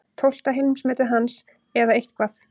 Tólfta heimsmetið hans eða eitthvað.